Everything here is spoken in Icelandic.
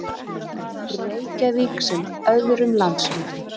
Reykjavík sem öðrum landshlutum.